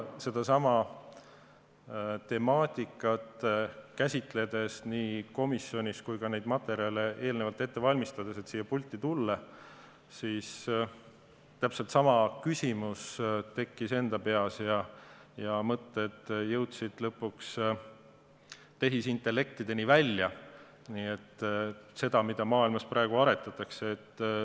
Sedasama temaatikat käsitledes nii komisjonis kui ka neid materjale eelnevalt ette valmistades, et saaksin siia pulti tulla, tekkis mul täpselt sama küsimus enda peas ja mõtted jõudsid lõpuks tehisintellektini välja, selleni, mida maailmas praegu arendatakse.